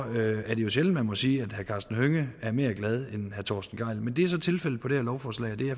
er jo sjældent man må sige at herre karsten hønge er mere glad end herre torsten gejl men det er så tilfældet med det her lovforslag